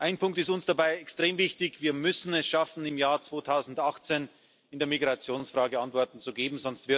Ein Punkt ist uns dabei extrem wichtig Wir müssen es schaffen, im Jahr 2018 in der Migrationsfrage Antworten zu geben.